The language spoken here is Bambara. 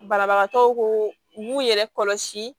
Banabagatɔw ko u b'u yɛrɛ kɔlɔsi